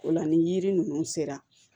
O la ni yiri ninnu sera